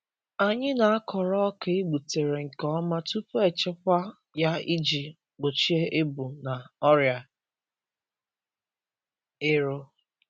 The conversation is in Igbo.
Anyị na-akọrọ ọka e gbutere nke ọma tupu echekwa ya iji gbochie ebu na ọrịa ero.